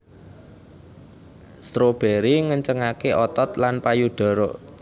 Strawberry ngencengaké otot lan payudara